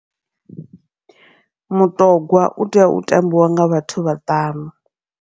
Mutogwa utea u tambiwa nga vhathu vhaṱanu.